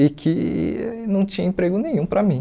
e que não tinha emprego nenhum para mim.